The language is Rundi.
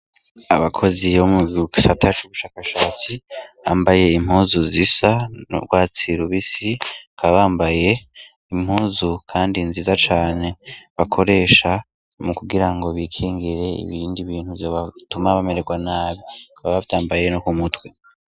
Abakozi bomugisata cubushakashatsi bambaye impuzu zisa nurwatsi rubisi bakaba bambaye impuzu kandi nziza cane bakoresha mukugira ngo bikingire ibindi bintu vyobatuma bamera nabi bakaba bavyambaye no kumutwe